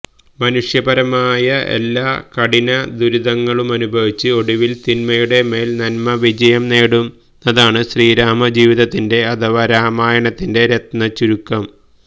മനുഷ്യപരമായ എല്ലാ കഠിനദുരിതങ്ങളുമനുഭവിച്ച് ഒടുവില് തിന്മയുടെ മേല് നന്മ വിജയം നേടുന്നതാണ് ശ്രീരാമജീവിതത്തിന്റെ അഥവാ രാമായണത്തിന്റെ രത്നചുരുക്കം